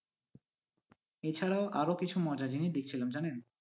এছাড়াও আরো কিছু মজার জিনিস দেখছিলাম জানেন।